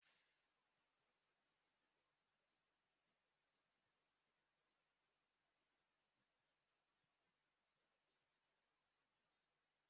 Iji mee nke ọma dịka ojiegoachụego, gakwuru ọkàmmụta n'ihe gbasara ego ka ọ nyee gị ndụmọdụ.